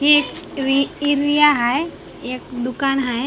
ही ट्वि इरिया हाय एक दुकान हाय .